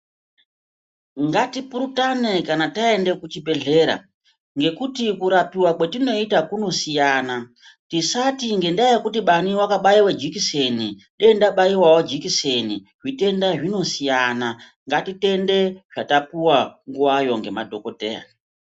Ngatipurutane kana taende kuchibhedhlera ngekuti kurapiwa kwetinota kunosiyana tisati ngendaa yekuti bani wakabaiwe jekiseni, dei ndabaiwawo jekiseni. Zvitenda zvinosiyana, ngatitende zvatapuwa nguvayo ngemadhogodheya.